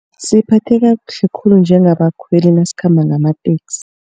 Siphatheka kuhle khulu njengabakhweli nasikhamba ngamateksi.